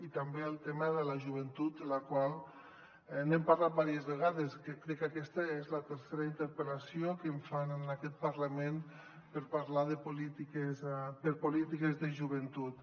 i també el tema de la joventut de la qual n’he parlat diverses vegades que crec que aquesta és la tercera interpel·lació que em fan en aquest parlament per parlar de polítiques de joventut